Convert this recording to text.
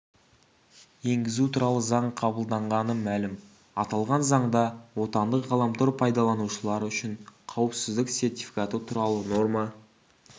енгізу туралы заң қабылданғаны мәлім аталған заңда отандық ғаламтор пайдаланушылар үшін қауіпсіздік сертификаты туралы норма